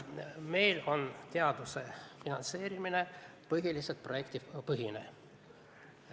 Meil on teaduse finantseerimine põhiliselt projektipõhine.